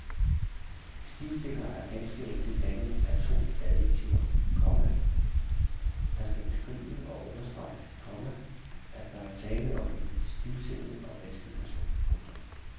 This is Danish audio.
Stivstikker er ganske enkelt dannet af to adjektiver, komma der skal beskrive og understrege, komma at der er tale om en stivsindet og vanskelig person. punktum